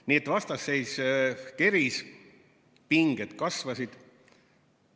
Nii et vastasseis keris, pinged kasvasid.